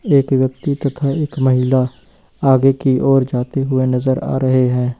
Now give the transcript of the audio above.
एक व्यक्ति तथा एक महिला आगे की ओर जाते हुए नजर आ रहे हैं।